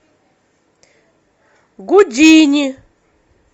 гудини